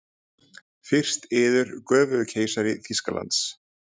Fyrst yður, göfugi keisari Þýskalands.